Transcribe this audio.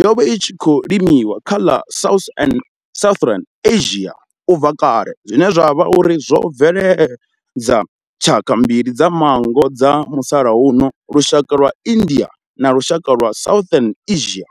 yo vha i tshi khou limiwa kha ḽa South an Southern Asia ubva kale zwine zwa vha uri zwo bveledza tshaka mbili dza manngo dza musalauno lushaka lwa India na lushaka lwa Southern Asia.